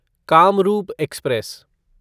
Kamrup express